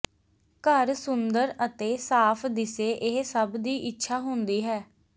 ਘਰ ਸੁੰਦਰ ਅਤੇ ਸਾਫ਼ ਦਿਸੇ ਇਹ ਸੱਭ ਦੀ ਇੱਛਾ ਹੁੰਦੀ ਹੈ